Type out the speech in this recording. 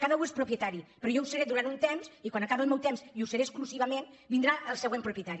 cada u és propietari però jo ho seré durant un temps i quan acabi el meu temps i ho seré exclusivament vindrà el següent propietari